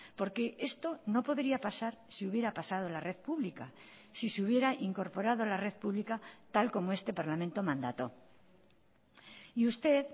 porque esto no podría pasar si hubiera pasado en la red pública si se hubiera incorporado la red pública tal como este parlamento mandató y usted